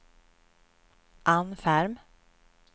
Ann Ferm